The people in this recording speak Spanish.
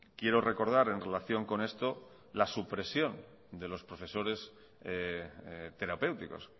quiero recordar en relación con esto la supresión de los profesores terapéuticos